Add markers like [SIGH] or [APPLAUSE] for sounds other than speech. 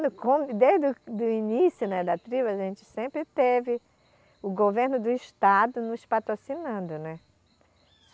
[UNINTELLIGIBLE] Desde o, do início, né, da tribo, a gente sempre teve o governo do estado nos patrocinando, né.